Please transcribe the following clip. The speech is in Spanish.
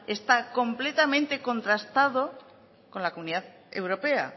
está completamente contrastado con la comunidad europea